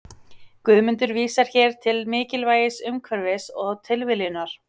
Guðmundur vísar hér til mikilvægis umhverfis og tilviljunar.